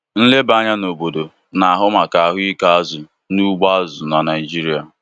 Nlebanya n'obodo na-ahụ maka ahụike azụ n'ugbo azụ na Naijiria.